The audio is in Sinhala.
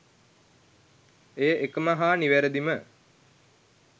ඒය එකම හා නිවැරදිම